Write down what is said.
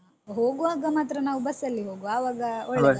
ಹೋಗುವಾಗ ಮಾತ್ರ ನಾವು ಬಸ್ಸಲ್ಲಿ ಹೋಗ್ವ ಆವಾಗ ಒಳ್ಳೇದಾಗ್ತದಲ್ಲಾ